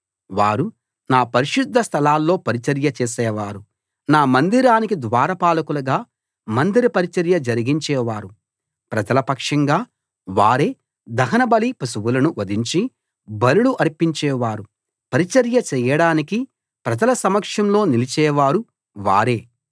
వారు నా పరిశుద్ధ స్థలాల్లో పరిచర్య చేసేవారు నా మందిరానికి ద్వారపాలకులుగా మందిర పరిచర్య జరిగించేవారు ప్రజల పక్షంగా వారే దహనబలి పశువులను వధించి బలులు అర్పించేవారు పరిచర్య చేయడానికి ప్రజల సమక్షంలో నిలిచేవారు వారే